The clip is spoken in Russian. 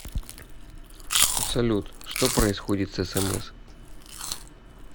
салют что происходит с смс